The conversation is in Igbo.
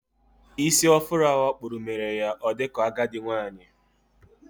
Ísì afuro ahụ okpúrụ, mere ya o dika agadi nwanyị